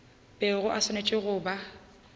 bego e swanetše go ba